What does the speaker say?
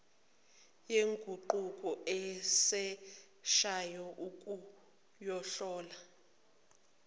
yenguquko esheshayo ukuyohlala